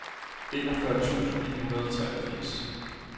enogfyrre tusind ni hundrede og treogfirs